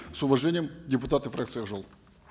с уважением депутаты фракции ак жол